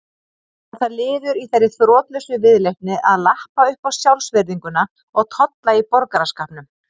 Var það liður í þeirri þrotlausu viðleitni að lappa uppá sjálfsvirðinguna og tolla í borgaraskapnum.